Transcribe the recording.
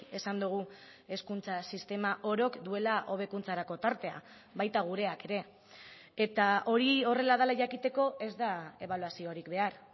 esan dugu hezkuntza sistema orok duela hobekuntzarako tartea baita gureak ere eta hori horrela dela jakiteko ez da ebaluaziorik behar